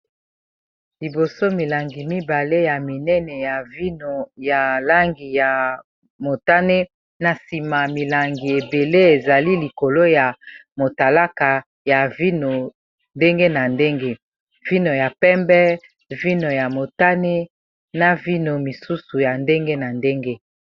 Liboso milangi mibale ya minene ya vino ya langi ya motane na nsima milangi ebele ezali likolo ya motalaka ya vino ndenge na ndenge vino ya pembe vino ya motane na vino misusu ya ndenge na ndenge.